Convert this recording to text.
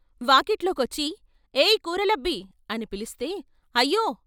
వాకిట్లో కొచ్చి ' ఏయ్ కూరలబ్బీ '' అనిపిలిస్తే ' అయ్యో!